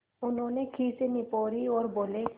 उन्होंने खीसें निपोरीं और बोले